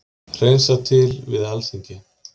Hreinsað til við Alþingi